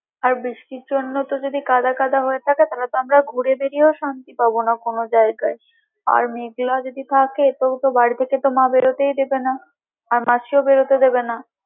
আর বৃষ্টির জন্য তো যদি কাদাকাদা হয়ে থাকে তাহলে তো আমরা ঘুরে বেরিয়েও শান্তি পাবো না কোনো জায়গায় আর মেঘলা যদি থাকে তো তোকে তো বাড়ি থেকে মা বেরোতেই দেবে না আর মাসিও বেরোতে দেবে না।